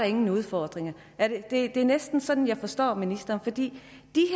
ingen udfordringer det er næsten sådan jeg forstår ministeren for de